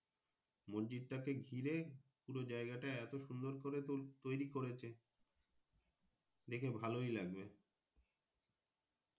মসজিদটাকে ঘিরে পুরো জায়গাটা এত সুন্দর করে তৌরি করেছে দেখে ভালোই লাগবে